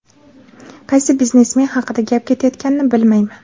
Qaysi biznesmen haqida gap ketayotganini bilmayman.